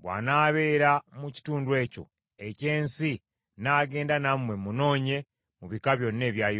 Bw’anaabeera mu kitundu ekyo eky’ensi nnaagenda nammwe munoonye mu bika byonna ebya Yuda.”